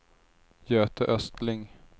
Göte Östling